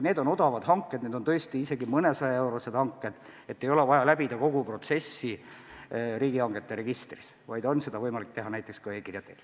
Need on odavad hanked, tõesti isegi mõnesajaeurosed hanked, mille korral ei ole vaja läbida kogu protsessi riigihangete registris, vaid seda on võimalik teha näiteks e-kirja teel.